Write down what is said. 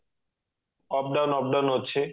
up down up down ଅଛି